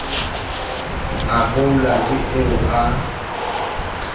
a koula ke eo a